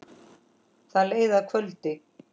Það leið að kvöldi.